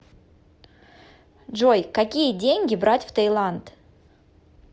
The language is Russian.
джой какие деньги брать в таиланд